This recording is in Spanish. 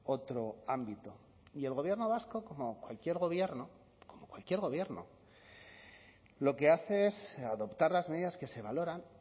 otro ámbito y el gobierno vasco como cualquier gobierno como cualquier gobierno lo que hace es adoptar las medidas que se valoran